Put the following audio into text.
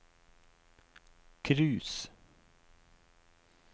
cruise